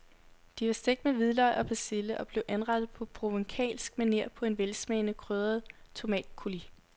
De var stegt med hvidløg og persille og blev anrettet på provencalsk maner på en velsmagende krydret tomatcoulis.